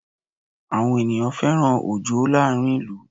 Àwọn ènìyàn fẹ́ràn Òjó láàrin ìlú